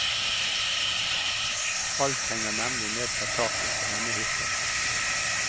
Alt henger nemlig ned fra taket på denne hytta.